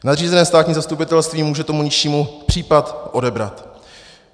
Nadřízené státní zastupitelství může tomu nižšímu případ odebrat.